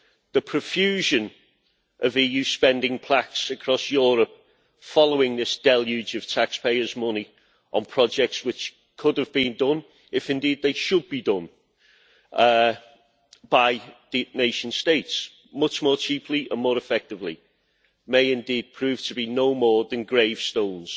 The profusion of EU spending plaques across Europe, following this deluge of taxpayers' money on projects which could have been done if indeed they should be done by the nation states much more cheaply and more effectively, may indeed prove to be no more than gravestones